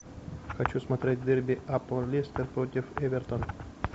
хочу смотреть дерби апл лестер против эвертон